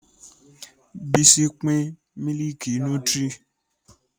Bísí pin mílìkì nútírì